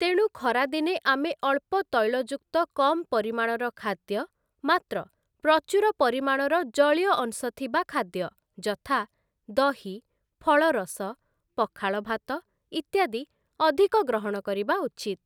ତେଣୁ ଖରା ଦିନେ ଆମେ ଅଳ୍ପ ତୈଳଯୁକ୍ତ କମ୍‌ ପରିମାଣର ଖାଦ୍ୟ, ମାତ୍ର ପ୍ରଚୁର ପରିମାଣର ଜଳୀୟ ଅଂଶ ଥିବା ଖାଦ୍ୟ ଯଥା ଦହି, ଫଳରସ, ପଖାଳଭାତ, ଇତ୍ୟାଦି ଅଧିକ ଗ୍ରହଣ କରିବା ଉଚିତ୍ ।